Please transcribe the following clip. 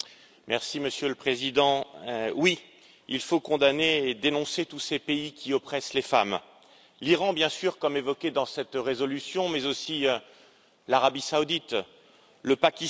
Monsieur le Président, oui, il faut condamner et dénoncer tous ces pays qui oppriment les femmes l'Iran, bien sûr, comme évoqué dans cette résolution, mais aussi l'Arabie saoudite et le Pakistan.